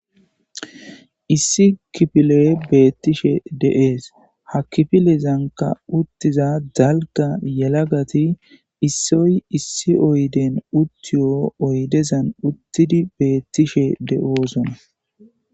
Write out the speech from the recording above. Issi kifile beettishe de'es ha kifilezanka uttiza dalga yelagati issoy issi oyden uttiyo oydezan uttidi beettishe de'osona.